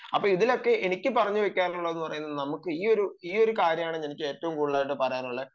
അപ്പൊ ഇതിലൊക്കെ എനിക്ക് പറഞ്ഞു വെക്കാനുള്ളത് ഈയൊരു കാര്യമാണ് എനിക്ക് ഏറ്റവും കൂടുതൽ പറയാനുള്ളത്